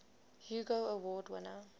hugo award winner